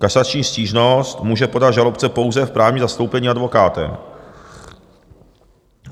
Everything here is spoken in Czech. Kasační stížnost může podat žalobce pouze v právním zastoupení advokátem.